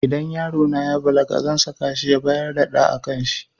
Idan yarona ya balaga zan saka shi ya bar dada a kanshi